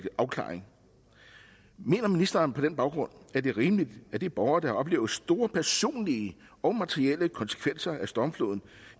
afklaring mener ministeren på den baggrund at det er rimeligt at de borgere der har oplevet store personlige og materielle konsekvenser af stormfloden